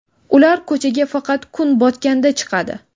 Ular ko‘chaga faqat kun botganda chiqadi.